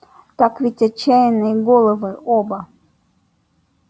так ведь отчаянные головы оба